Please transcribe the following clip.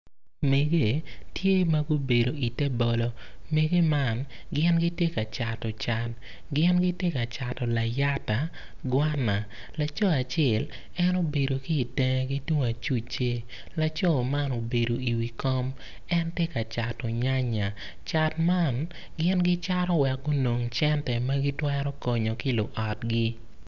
Megge tye ma gubedo ite bolo megge man gin gitye ka cato can giti ka cato liyata kwana laco acel en obedo ki itenge ki tung acucce laco man obedo i wi kom en tye ka cato nyanya cat man gin gicato wek gunong cente ma gitwero konyo ki luotgi